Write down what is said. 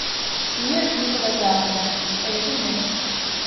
мир дикого запада посоветуй мне